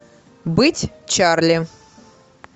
быть чарли